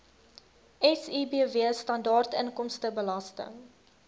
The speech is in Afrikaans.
sibw standaard inkomstebelasting